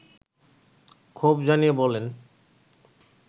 ক্ষোভ জানিয়ে বলেন